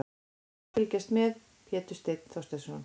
Gaman að fylgjast með: Pétur Steinn Þorsteinsson.